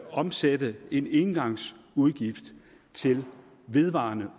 omsætte en engangsudgift til en vedvarende